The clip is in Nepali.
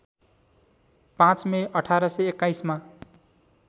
५ मे १८२१ मा